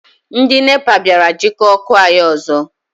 Ndị NEPA bịara jikọọ ọkụ anyị ọzọ.